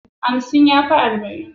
Hamsin ya fi arba'in.